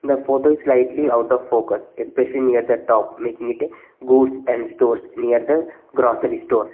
The photo is slightly out of focus especially near the top making it a goods and stores near the grocery store.